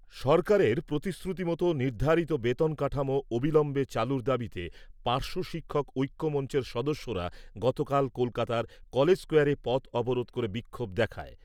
সরকারের প্রতিশ্রুতি মতো নির্ধারিত বেতন কাঠামো অবিলম্বে চালুর দাবিতে পার্শ্ব শিক্ষক ঐক্য মঞ্চের সদস্যরা গতকাল কলকাতার কলেজ স্কোয়ারে পথ অবরোধ করে বিক্ষোভ দেখায়।